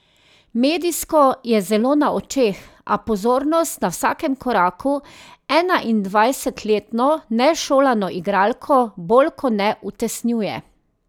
Medijsko je zelo na očeh, a pozornost na vsakem koraku enaindvajsetletno nešolano igralko bolj ko ne utesnjuje.